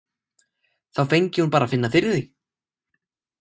Þá fengi hún bara að finna fyrir því.